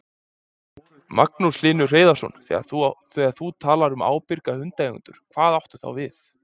Magnús Hlynur Hreiðarsson: Þegar þú talar um ábyrga hundeigendur, hvað áttu þá við?